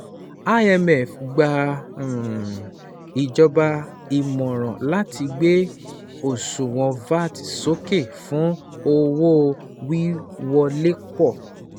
IMF gba ìjọba ìmọ̀ràn láti gbé òṣuwọn VAT sókè fún owó-wíwolé pọ̀.